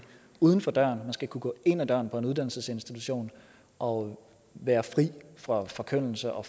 uden for døren man skal kunne gå ind ad døren på en uddannelsesinstitution og være fri for forkyndelse og